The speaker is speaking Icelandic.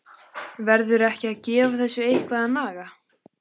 Verður ekki að gefa þessu eitthvað að naga?